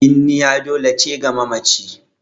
Binniya dole ce ga mamaci